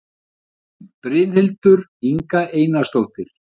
Ljósmynd: Brynhildur Inga Einarsdóttir